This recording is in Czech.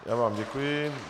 Já vám děkuji.